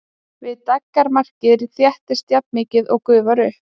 Við daggarmarkið þéttist jafnmikið og gufar upp.